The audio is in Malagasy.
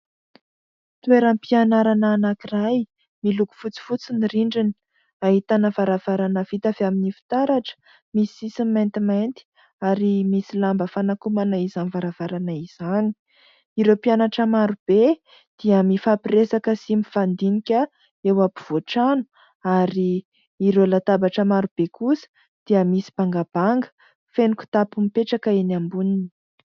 Toeram-pianarana anankiray miloko fotsifotsy ny rindrina. Ahitana varavarana vita avy amin'ny fitaratra, misy sisiny maintimainty ary misy lamba fanakonana izany varavarana izany. Ireo mpianatra marobe dia mifampiresaka sy mifandinika eo ampovoan-trano ary ireo latabatra marobe kosa dia misy bangabanga, feno kitapo mipetraka eny amboniny.